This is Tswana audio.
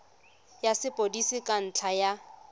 ya sepodisi ka ntlha ya